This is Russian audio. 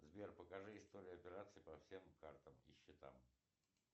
сбер покажи историю операций по всем картам и счетам